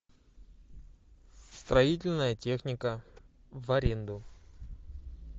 строительная техника в аренду